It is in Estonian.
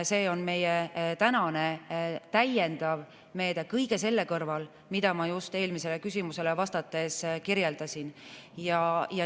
See on praegu meie täiendav meede kõige selle kõrval, mida ma just eelmisele küsimusele vastates kirjeldasin.